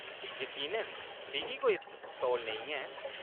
यकीनन, मिगी कोई तौल नेईं ऐ।